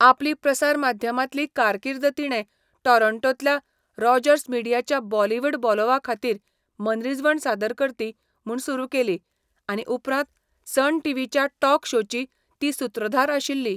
आपली प्रसारमाध्यमांतली कारकीर्द तिणे टोरोण्टोंतल्या रॉजर्स मिडियाच्या बॉलिवूड बोलोव्हाखातीर मनरिजवण सादरकर्ती म्हूण सुरू केली, आनी उपरांत सन टीव्हीच्या टॉक शोची ती सुत्रधार आशिल्ली.